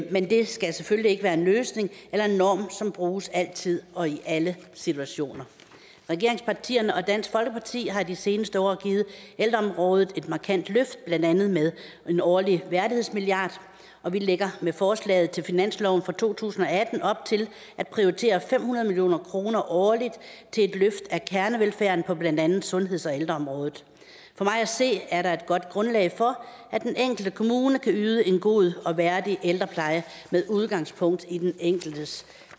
men det skal selvfølgelig ikke være en løsning eller en norm som bruges altid og i alle situationer regeringspartierne og dansk folkeparti har i de seneste år givet ældreområdet et markant løft blandt andet med en årlig værdighedsmilliard og vi lægger med forslaget til finansloven for to tusind og atten op til at prioritere fem hundrede million kroner årligt til et løft af kernevelfærden på blandt andet sundheds og ældreområdet for mig at se er der et godt grundlag for at den enkelte kommune kan yde en god og værdig ældrepleje med udgangspunkt i den enkeltes